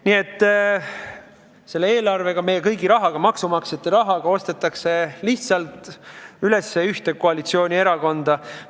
Nii et selle eelarvega, meie kõigi rahaga, maksumaksjate rahaga ostetakse lihtsalt ära ühte koalitsioonierakonda.